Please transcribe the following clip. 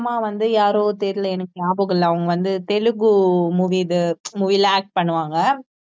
அம்மா வந்து யாரோ தெரியல எனக்கு நியாபகம் இல்ல அவங்க வந்து தெலுங்கு movie இது movie ல act பண்ணுவாங்க